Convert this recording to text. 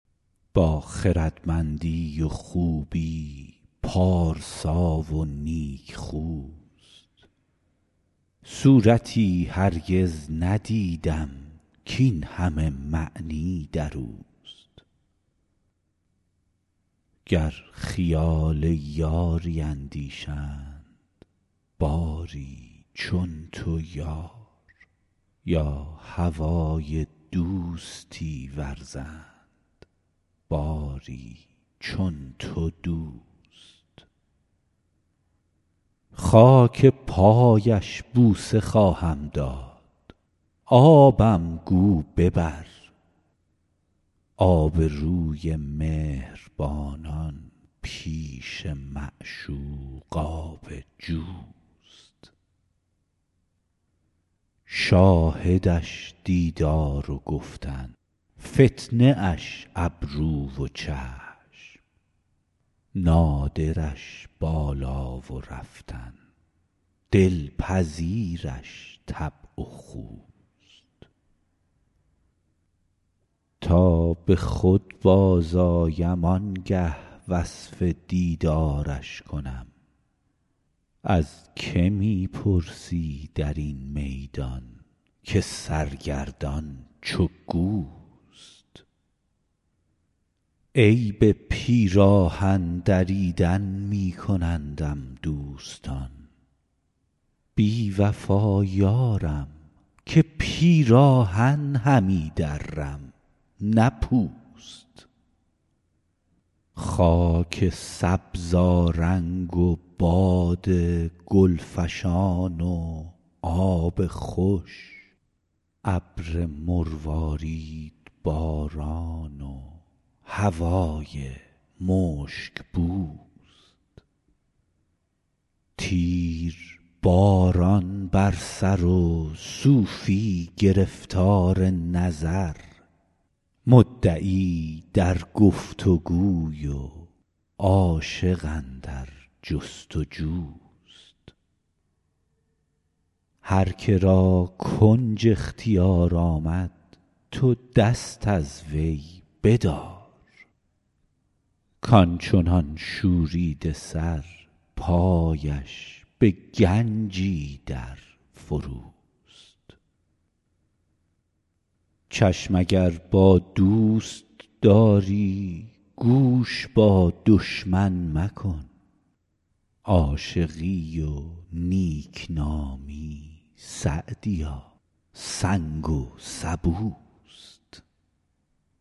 با خردمندی و خوبی پارسا و نیکخوست صورتی هرگز ندیدم کاین همه معنی در اوست گر خیال یاری اندیشند باری چون تو یار یا هوای دوستی ورزند باری چون تو دوست خاک پایش بوسه خواهم داد آبم گو ببر آبروی مهربانان پیش معشوق آب جوست شاهدش دیدار و گفتن فتنه اش ابرو و چشم نادرش بالا و رفتن دلپذیرش طبع و خوست تا به خود بازآیم آن گه وصف دیدارش کنم از که می پرسی در این میدان که سرگردان چو گوست عیب پیراهن دریدن می کنندم دوستان بی وفا یارم که پیراهن همی درم نه پوست خاک سبزآرنگ و باد گل فشان و آب خوش ابر مرواریدباران و هوای مشک بوست تیرباران بر سر و صوفی گرفتار نظر مدعی در گفت وگوی و عاشق اندر جست وجوست هر که را کنج اختیار آمد تو دست از وی بدار کان چنان شوریده سر پایش به گنجی در فروست چشم اگر با دوست داری گوش با دشمن مکن عاشقی و نیک نامی سعدیا سنگ و سبوست